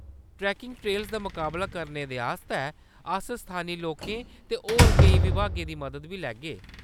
Trekking trails दा मकाबला करने दे आस्तै अस स्थानी लोकें ते होर कोई विभागें दी मदद बी लैगे।